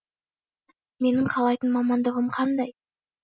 менің қалайтын мамандығым қандай